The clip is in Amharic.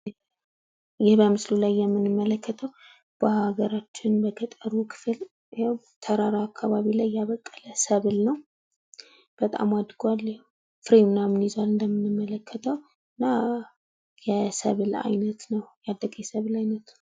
ይህ በምስሉ ላይ የምንመለከተው በሀገራችን በገጠሩ ክፍል ተራራ አካባቢ ላይ የበቀለ ሰብል ነው። በጣም አድጓል ፍሬ ምናምን ይዟል እንደምናየው። እና ያደገ የሰብል አይነት ነው ።